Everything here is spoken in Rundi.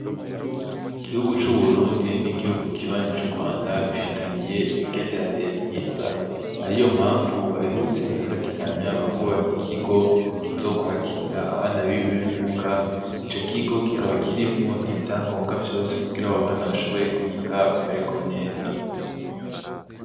Igihugu c'Uburundi, n'igihugu kibanyi c'Urwanda bifitaniye imigenderanire mwiza, ariyo mpavu baherutse gufatikanya bakubaka ikigo kizokwakira abana bibimuga, ico kigo kikaba kirimwo ivyagombwa vyose kugira abo bana bashobore kwiga bameregwe neza.